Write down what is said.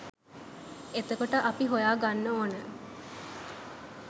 එතකොට අපි හොයා ගන්න ඕන